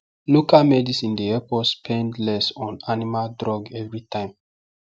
local medicine dey help us spend less on animal drug every time